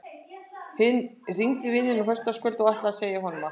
Hringdi í vininn á föstudagskvöldið og ætlaði að segja honum allt.